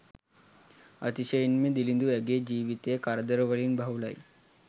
අතිශයින්ම දිළිදු ඇගේ ජීවිතය කරදරවලින් බහුලයි